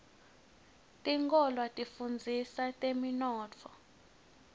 tikolwa tifundzisa temnotfo